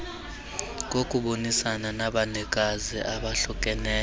kokubonisana nabanikazi abahlukeneyo